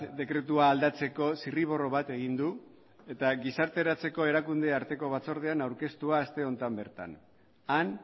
dekretua aldatzeko zirriborro bat egin du eta gizarteratzeko erakunde arteko batzordean aurkeztua aste honetan bertan han